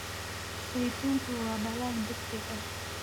Saytuuntu waa dalag degdeg ah.